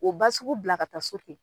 O ba sugu bila ka taa so ten.